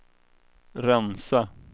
rensa